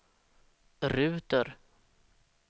ruter